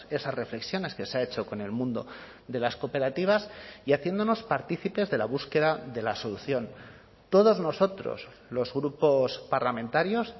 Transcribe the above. esas reflexiones que se ha hecho con el mundo de las cooperativas y haciéndonos partícipes de la búsqueda de la solución todos nosotros los grupos parlamentarios